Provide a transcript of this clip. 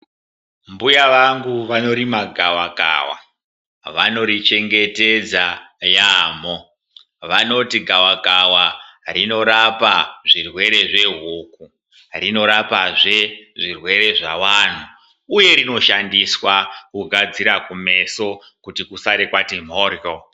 Mbuya vangu vanorima gavakawa, vanorichengetedza yamho, vanoti gavakawa rinorapa zvirwere zvehuku, rinorapazve zvirwere zvavantu, uye rinoshandiswa kugadzira kumeso kuti kusare kwati kwamhoryo.